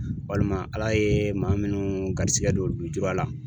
Walima ALA ye maa minnu garisigɛ don lujura la.